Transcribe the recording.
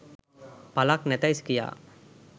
පලක් නැතැ යි කියා.